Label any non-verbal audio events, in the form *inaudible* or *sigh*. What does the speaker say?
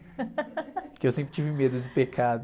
*laughs* Porque eu sempre tive medo do pecado.